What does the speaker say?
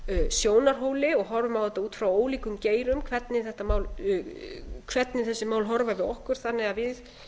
sjónarhóli og horfum á þetta út frá ólíkum geirum hvernig þessi mál horfa við okkur þannig að við